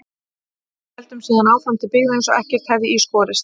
Við héldum síðan áfram til byggða eins og ekkert hefði í skorist.